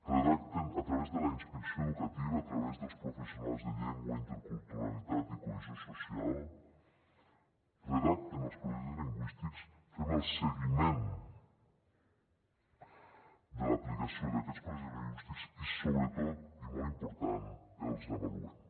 redacten a través de la inspecció educativa a través dels professionals de llengua interculturalitat i cohesió social els projectes lingüístics fem el seguiment de l’aplicació d’aquests projectes lingüístics i sobretot i molt important els avaluem